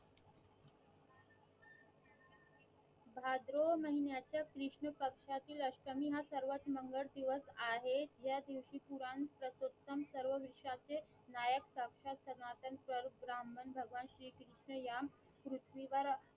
भाद्रो महिन्याचा कृष्ण पक्षातील अष्टमी हा सर्वात मंगळ दिवस आहे या दिवशी पुराण पर्शुत्म सर्व वृक्षा चे नायक शक्ष्यात सनातन स्वरूप ब्राह्मण भगवान श्री कृष्ण या पृथ्वी वर